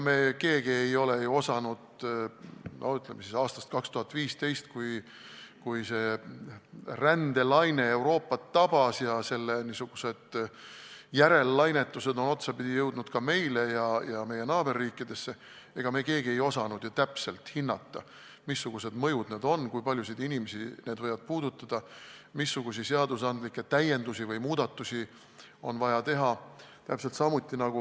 Me keegi ei ole ju osanud – no ütleme aastast 2015, kui see rändelaine Euroopat tabas ning selle niisugune järellainetus jõudis otsapidi ka meile ja meie naaberriikidesse – täpselt hinnata, missugused need mõjud on, kui paljusid inimesi need võivad puudutada, missuguseid täiendusi või muudatusi on seadustes vaja teha.